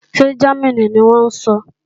Ṣé Jámínì ni wọ́n ń sọ?